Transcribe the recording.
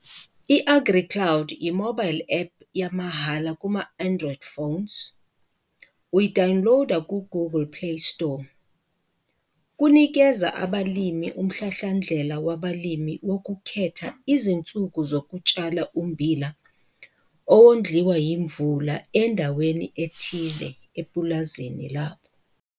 I-AgriCloud yi-mobile app yamahhala kuma-Android phones, uyi-dowuniloda ku-Googley Play Store. Kunikeza abalimi umhlahlandlela wabalimi wokukhetha izinsuku zokutshala ummbila owondliwa imvula endaweni ethile epulazini labo.